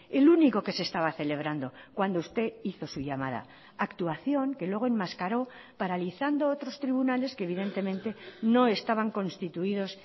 el único que se estaba celebrando cuando usted hizo su llamada actuación que luego enmascaró paralizando otros tribunales que evidentemente no estaban constituidos